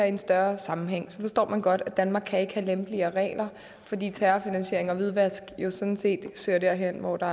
i en større sammenhæng så forstår man godt at danmark ikke kan have lempeligere regler fordi terrorfinansiering og hvidvask jo sådan set søger derhen hvor der